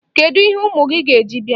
Kedụ ihe unu ga-eji bịa?